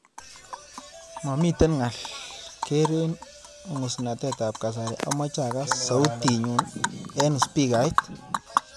Mamiten ngaal keer eng ngusnatetab kasari amache agaas sautinyu eng spikait